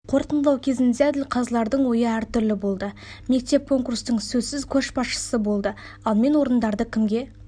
қорытындылау кезінде әділқазылардың ойы әр түрлі болды мектеп конкурстың сөзсіз көшбасшысы болды ал мен орындарды кімге